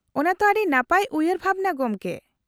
-ᱚᱱᱟ ᱛᱚ ᱟᱹᱰᱤ ᱱᱟᱯᱟᱭ ᱩᱭᱦᱟᱹᱨ ᱵᱷᱟᱵᱱᱟ, ᱜᱚᱢᱠᱮ ᱾